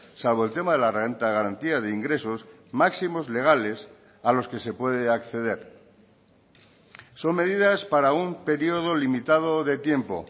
salvo el tema de la renta de garantía de ingresos máximos legales a los que se puede acceder son medidas para un periodo limitado de tiempo